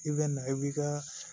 I bɛ na i bi ka